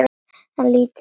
En lítið yður nær maður.